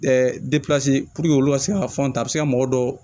olu ka se ka fɔntɛ a bɛ se ka mɔgɔ dɔw